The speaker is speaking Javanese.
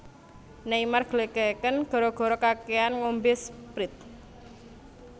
Neymar glegeken gara gara kakean ngombe Sprite